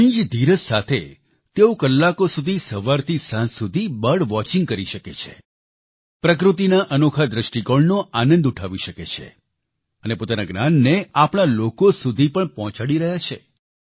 ધણી જ ધીરજ સાથે તેઓ કલાકો સુધી સવારથી સાંજ સુધી બર્ડ વોચિંગ કરી શકે છે પ્રકૃતિના અનોખા દ્રષ્ટિકોણનો આનંદ ઉઠાવી શકે છે અને પોતાના જ્ઞાનને આપણા લોકો સુધી પણ પહોંચાડી રહ્યા છે